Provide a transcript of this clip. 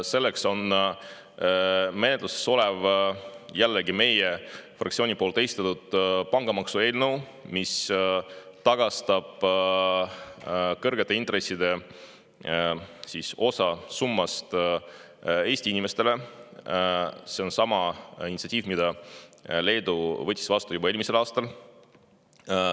Selleks on menetluses olev – jällegi meie fraktsiooni esitatud – pangamaksu eelnõu, mis tagastab osa kõrgete intresside summast Eesti inimestele, see on sama initsiatiiv, mille Leedu võttis ette juba eelmisel aastal.